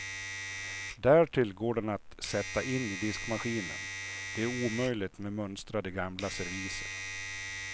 Därtill går den att sätta in i diskmaskinen, det är omöjligt med mönstrade gamla serviser.